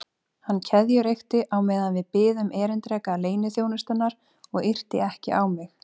Hann keðjureykti á meðan við biðum erindreka leyniþjónustunnar og yrti ekki á mig.